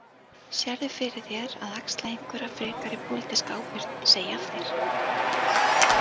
Sérðu fyrir þér að axla einhverja frekari pólitíska ábyrgð, segja af þér?